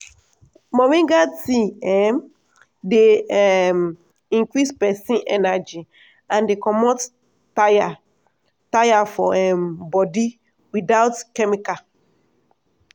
moringa tea um dey um increase person energy and dey comot tire tire for um body without chemical.